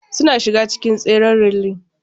Suna shiga cikin tseren relay.